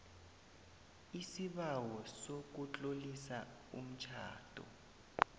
isibawo sokutlolisa umtjhado